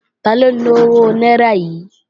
Taló ni owó náírà yìí?